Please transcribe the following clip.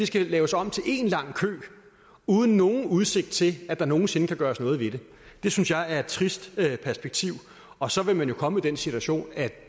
skal laves om til en lang kø uden nogen udsigt til at der nogen sinde kan gøres noget ved det det synes jeg er et trist perspektiv og så vil man jo komme i den situation at